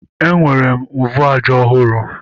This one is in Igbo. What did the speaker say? Enwere m mvu aja ọhụrụ